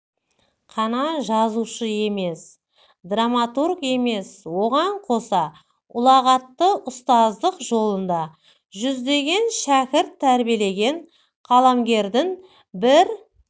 қана жазушы емес драматург емес оған қоса ұлағатты ұстаздық жолында жүздеген шәкірт тербиелеген қаламгердің бір